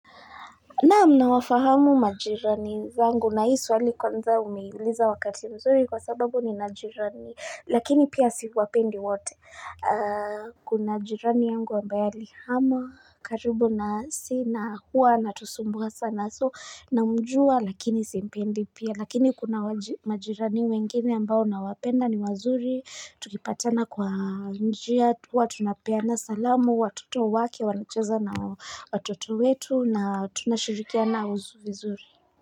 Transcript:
Naam nawafahamu majirani zangu na hii swali kwanza umeuliza wakati mzuri kwa sababu nina majirani lakini pia siwapendi wote Kuna jirani yangu ambaye alihamia karibu nasi na hua ana tusumbua sana, so namjuwa lakini si mpendi pia Lakini kuna majirani wengine ambao na wapenda ni wazuri tukipatana kwa njia huwatuna peana salamu watoto wake wanacheza na watoto wetu na tunashirikiana vizuri.